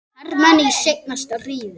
hermenn í seinna stríði.